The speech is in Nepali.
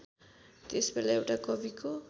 त्यसबेला एउटा कविको